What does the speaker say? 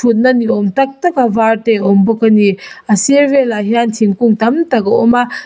thutna ni awm tak tak a var te a awm bawk ani a sir velah hian thingkung tam tak a awm a.